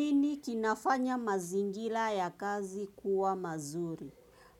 Nini kinafanya mazingira ya kazi kuwa mazuri?